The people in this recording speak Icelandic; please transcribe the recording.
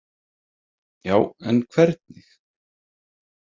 Já, en hvernig?